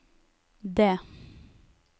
D